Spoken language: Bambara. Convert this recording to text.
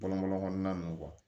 Bɔlɔn bɔlɔn kɔnɔna nunnu